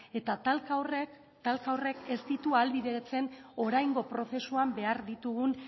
eta talka horrek ez ditu ahalbideratzen oraingo prozesuan behar ditugun